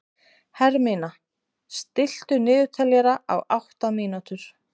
Hermína, stilltu niðurteljara á átta mínútur.